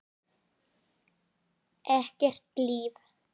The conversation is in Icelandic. Ekkert líf.